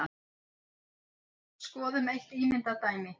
Skoðum eitt ímyndað dæmi.